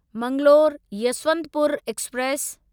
Mangalore Yesvantpur express